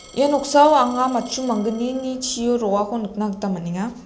ia noksao anga matchu manggnini chio roako nikna gita man·enga.